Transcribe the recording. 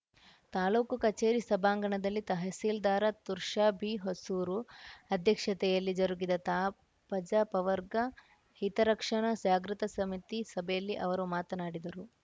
ತಾಲೂಕು ಕಚೇರಿ ಸಭಾಂಗಣದಲ್ಲಿ ತಹಸೀಲ್ದಾರ ತುರ್ಷಾ ಬಿ ಹೊಸೂರು ಅಧ್ಯಕ್ಷತೆಯಲ್ಲಿ ಜರುಗಿದ ತಾ ಪಜಾ ಪವರ್ಗ ಹಿತರಕ್ಷಣಾ ಜಾಗೃತ ಸಮಿತಿ ಸಭೆಯಲ್ಲಿ ಅವರು ಮಾತನಾಡಿದರು